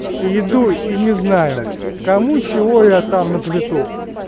и иду и не знаю кому чего я там наплету